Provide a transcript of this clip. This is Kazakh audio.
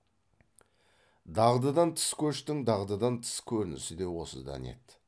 дағдыдан тыс көштің дағдыдан тыс көрінісі де осыдан еді